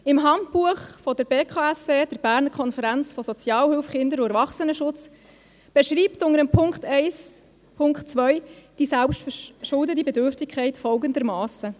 Das Handbuch der Berner Konferenz für Sozialhilfe, Kinder- und Erwachsenenschutz (BKSE) beschreibt unter dem Punkt 1. 2 die selbstverschuldete Bedürftigkeit folgendermassen: